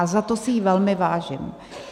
A za to si jí velmi vážím.